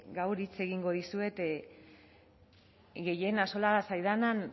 gaur hitz egingo dizuet gehien axola zaidan